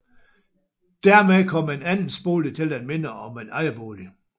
Dermed kom en andelsbolig til at minde om en ejerbolig